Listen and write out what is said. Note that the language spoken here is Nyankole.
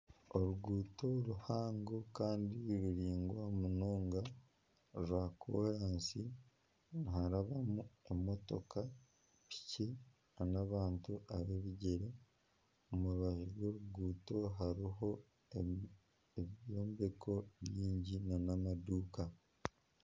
Oruguuto ruhango kandi ruraingwa munonga rwa koraansi niharabwamu emotoka, piki n'abantu ab'ebigyere, omu rubaju rw'oruguuto harimu ebyombeko bingi nana amaduuka